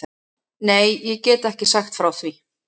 Nei, ég get ekki sagt frá því.